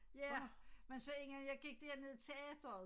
Ja men så engang jeg gik dernede i teateret